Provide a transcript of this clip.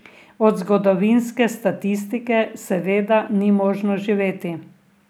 Od zgodovinske statistike seveda ni možno živeti.